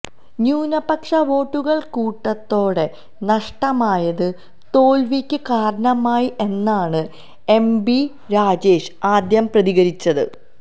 ന്യൂനപക്ഷ വോട്ടുകൾ കൂട്ടത്തോടെ നഷ്ടമായത് തോൽവിക്ക് കാരണമായി എന്നാണ് എം ബി രാജേഷ് ആദ്യം പ്രതികരിച്ചത്